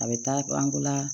A bɛ taa an ko la